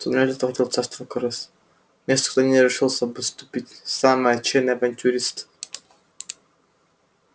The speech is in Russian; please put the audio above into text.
туннель этот уходил в царство крыс место куда не решился бы ступить самый отчаянный авантюрист